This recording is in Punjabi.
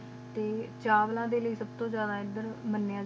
ਟੀ ਚਾਵਲਾ ਡੀ ਲੈ ਸਬ ਤ ਜਿਆਦਾ ਇਦ੍ਦਾਰ ਮਾ